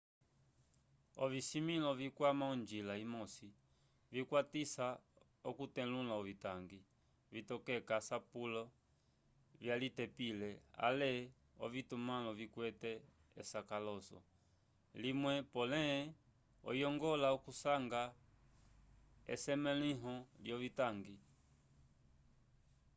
ovisimĩlo vikwama onjila imosi vikwatisa okutetulula ovitangi vitokeka asapule vyalitepile ale ovitumãlo vikwete esakalaso limwe pole oyongola okusanga esemẽluho lyovitangi